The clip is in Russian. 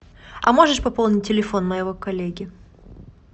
а можешь пополнить телефон моего коллеги